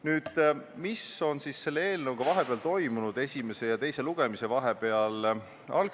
Nüüd sellest, mis on eelnõuga esimese ja teise lugemise vahepeal toimunud.